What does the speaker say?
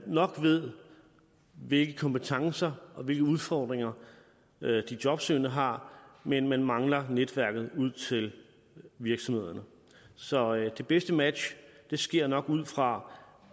nok ved hvilke kompetencer og hvilke udfordringer de jobsøgende har men man mangler netværket ud til virksomhederne så det bedste match sker nok ud fra